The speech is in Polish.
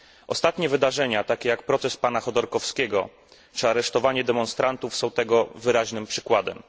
Ostatnie wydarzenia, takie jak proces pana Chodorkowskiego czy aresztowanie demonstrantów, są tego wyraźnym przykładem.